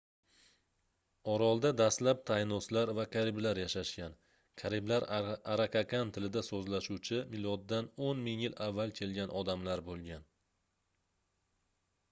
orolda dastlab taynoslar va kariblar yashashgan kariblar arakakan tilida soʻzlashuvchi miloddan 10 000 yil avval kelgan odamlar boʻlgan